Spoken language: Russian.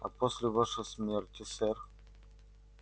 а после вашей смерти сэр